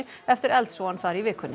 eftir eldsvoðann þar í vikunni